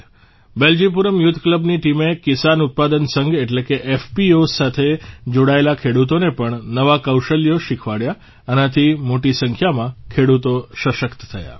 Beljipuram youth ક્લબની ટીમે કિસાન ઉત્પાદ સંઘ એટલે કે એફપીઓએસ સાથે જોડાયેલા ખેડૂતોને પણ નવા કૌશલ્યો શીખવાડ્યા એનાથી મોટી સંખ્યામાં ખેડૂતો સશક્ત થયા છે